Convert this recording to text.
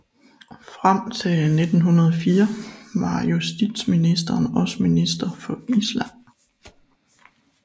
Frem til 1904 var justitsministeren også Minister for Island